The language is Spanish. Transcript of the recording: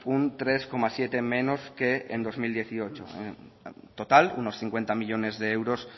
un tres coma siete menos que en dos mil dieciocho en total unos cincuenta millónes de euros